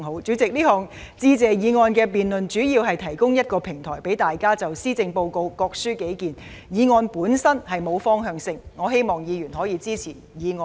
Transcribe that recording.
主席，這項致謝議案的辯論，主要旨在提供一個平台，讓大家就施政報告各抒己見，議案本身並沒有方向性，我希望議員可以支持議案。